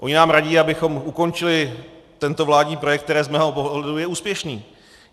Oni nám radí, abychom ukončili tento vládní projekt, který z mého pohledu je úspěšný.